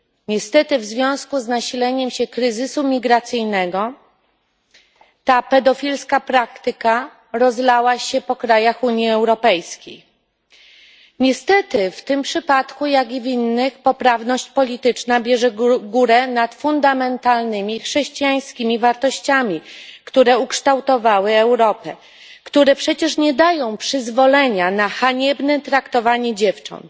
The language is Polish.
Niestety w związku z nasileniem się kryzysu migracyjnego ta pedofilska praktyka rozlała się po krajach Unii Europejskiej. Niestety w tym przypadku, jak i w innych, poprawność polityczna bierze górę nad fundamentalnymi chrześcijańskimi wartościami, które ukształtowały Europę i które przecież nie dają przyzwolenia na haniebne traktowanie dziewcząt.